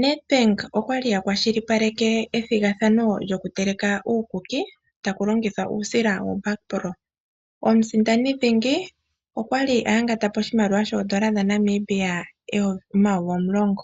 NDA bank okwali aningi ethigathono lyokuteleka uukuki taku longithwa uusila wo backro. Omusindani dhingi okwali oya ngatapo moyovi omulongo ,